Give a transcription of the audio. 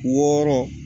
Wɔɔrɔ